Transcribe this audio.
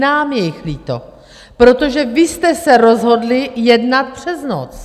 Nám je jich líto, protože vy jste se rozhodli jednat přes noc.